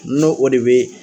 No o de bɛ